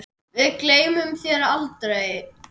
Við gleymum þér aldrei.